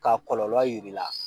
K'a kɔlɔlɔ yir'i la